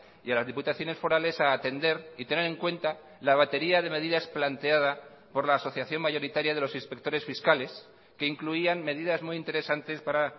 y a las diputaciones forales a atender y tener en cuenta la batería de medidas planteada por la asociación mayoritaria de los inspectores fiscales que incluían medidas muy interesantes para